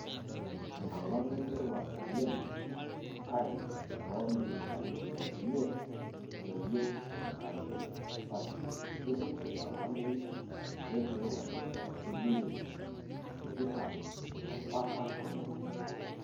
Enkolong' nemeirowua oleng':Enkare oo milimitani ip miet, meyieu enkare sapuk, kening'ore olameyu lenkirowuaj oo seliusi tikitam ompaka tomoni uni.